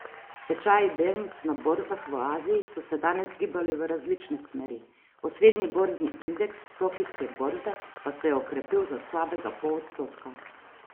Tečaji delnic na borzah v Aziji so se danes gibali v različne smeri, osrednji borzni indeks tokijske borze pa se je okrepil za slabega pol odstotka.